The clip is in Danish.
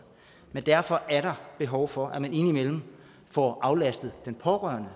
men derfor er der behov for at man indimellem får aflastet den pårørende